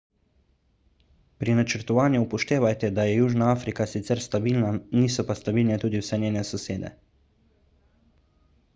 pri načrtovanju upoštevajte da je južna afrika sicer stabilna niso pa stabilne tudi vse njene sosede